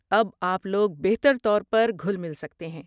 اب آپ لوگ بہتر طور پر گھل مل سکتے ہیں۔